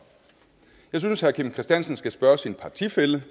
jeg synes herre kim christiansen skal spørge sin partifælle